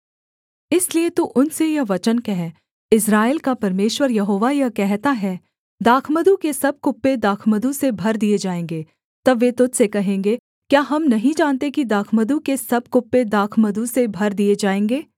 इसलिए तू उनसे यह वचन कह इस्राएल का परमेश्वर यहोवा यह कहता है दाखमधु के सब कुप्पे दाखमधु से भर दिए जाएँगे तब वे तुझ से कहेंगे क्या हम नहीं जानते कि दाखमधु के सब कुप्पे दाखमधु से भर दिए जाएँगे